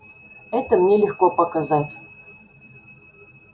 это мне легко показать